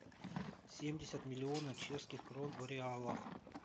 семьдесят миллиона чешских крон в реалах